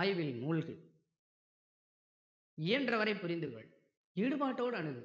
ஆய்வில் மூழ்கு இயன்ற வரை புரிந்து கொள் ஈடுபாட்டோட அணுகு